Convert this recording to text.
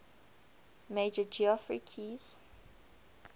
major geoffrey keyes